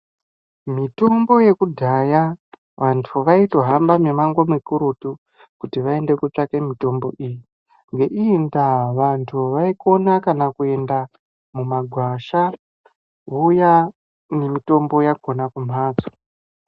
Mitombo yekudhaya, vantu vayitohamba mimango mikurutu, kuti vayende kotsvaka mitombo iyi, ngeiyi ndaa vantu vayikona kana kuyenda mumagwasha vouya nemitombo yakona kumhatso.